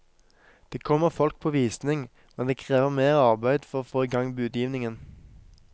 Det kommer folk på visning, men det krever mer arbeid for å få i gang budgivningen.